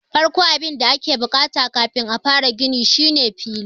Farkon abun da ake bukata kafin a fara gini shine fili.